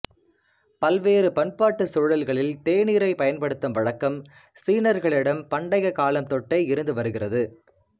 பல்வேறு பண்பாட்டு சூழல்களில் தேநீரைப் பயன்படுத்தும் வழக்கம் சீனர்களிடம் பண்டைய காலம் தொட்டே இருந்து வருகிறது